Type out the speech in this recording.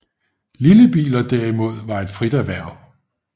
Lillebiler derimod var et frit erhverv